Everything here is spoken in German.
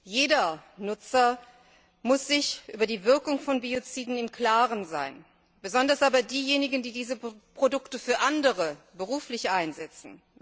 Jeder Nutzer muss sich über die Wirkung von Bioziden im Klaren sein, besonders aber diejenigen, die diese Produkte für andere beruflich einsetzen.